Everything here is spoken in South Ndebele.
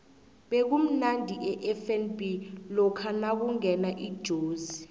bekumnandi efnb lokha nakungena ijozi